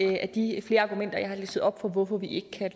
et af de flere argumenter jeg har listet op for hvorfor vi ikke kan